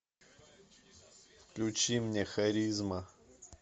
включи мне харизма